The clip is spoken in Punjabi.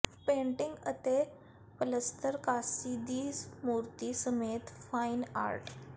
ਪੇਂਟਿੰਗਾਂ ਅਤੇ ਪਲੱਸਤਰ ਕਾਂਸੀ ਦੀ ਮੂਰਤੀ ਸਮੇਤ ਫਾਈਨ ਆਰਟ